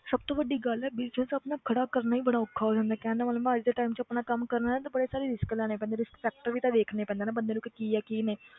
ਸਭ ਤੋਂ ਵੱਡੀ ਗੱਲ business ਆਪਣਾ ਖੜਾ ਕਰਨਾ ਹੀ ਬੜਾ ਔਖਾ ਹੋ ਜਾਂਦਾ ਹੈ ਕਹਿਣ ਦਾ ਮਤਲਬ ਅੱਜ ਦੇ time 'ਚ ਆਪਣਾ ਕੰਮ ਕਰਨਾ ਤੇ ਬੜੇ ਸਾਰੇ risk ਲੈਣੇ ਪੈਂਦੇ risk factor ਵੀ ਤਾਂ ਵੇਖਣੇ ਪੈਂਦੇ ਨਾ ਬੰਦੇ ਨੂੰ ਕਿ ਕੀ ਆ ਕੀ ਨਹੀਂ